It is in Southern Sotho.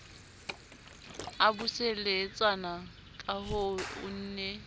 a buseletsana kahoo o ne